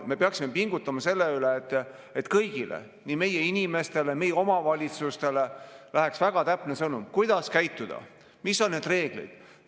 Me peaksime pingutama selle nimel, et kõigile, nii meie inimestele kui ka meie omavalitsustele läheks väga täpne sõnum, kuidas käituda, mis on need reegleid.